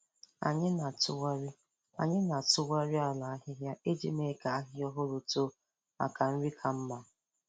Anyị na-atụgharị Anyị na-atụgharị ala ahịhịa iji mee ka ahịhịa ọhụrụ too maka nri ka mma.